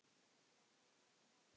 Já, það væri gaman.